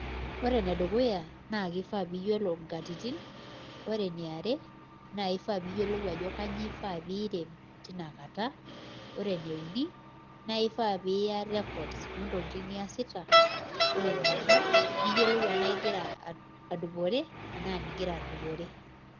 kifaa piyiolo inkatitin kifaa piyiolo ajoo kanyoo ifaa iiirem tinkata koree nkae kifaa piiya records niyioluo enaaa igira aduporee enaa migira.